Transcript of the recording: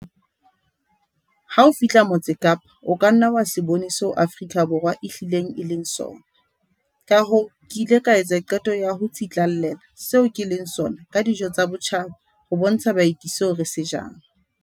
"Ha o fihla Motse Kapa, o ka nna wa se bone seo Afrika Borwa e hlileng e leng sona, kahoo ke ile ka etsa qeto ya ho tsitlallela seo ke leng sona ka dijo tsa botjhaba ho bontsha baeti seo re se jang."